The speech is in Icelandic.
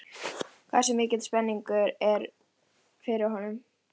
Þeir samþykktu báðir og þau urðu samferða að sturtunum.